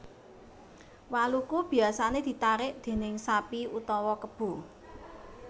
Waluku biasané ditarik déning sapi utawa kebo